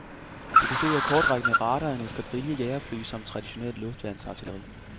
Det bestod af kortrækkende radar, en eskadrille jagerfly samt traditionelt luftværnsartilleri.